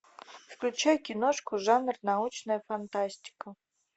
включай киношку жанр научная фантастика